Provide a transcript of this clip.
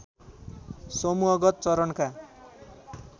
समूहगत चरणका